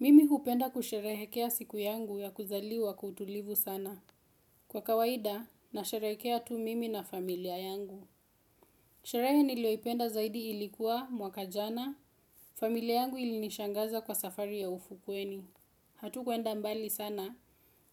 Mimi hupenda kusherehekea siku yangu ya kuzaliwa kwa utulivu sana. Kwa kawaida, nasherekea tu mimi na familia yangu. Sherehe nilioipenda zaidi ilikuwa mwakajana, familia yangu ilinishangaza kwa safari ya ufukweni. Hatukwenda mbali sana,